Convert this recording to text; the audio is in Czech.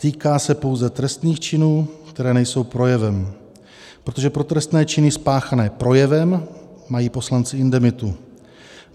Týká se pouze trestných činů, které nejsou projevem, protože pro trestné činy spáchané projevem mají poslanci indemitu.